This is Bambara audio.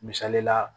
Misali la